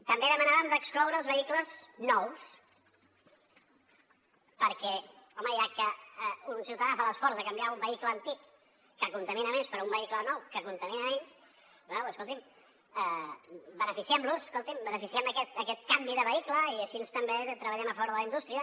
també demanàvem d’excloure els vehicles nous perquè home ja que un ciutadà fa l’esforç de canviar un vehicle antic que contamina més per un vehicle nou que contamina menys bé escolti’m beneficiem los escolti’m beneficiem aquest canvi de vehicle i així també treballem a favor de la indústria